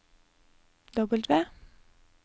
W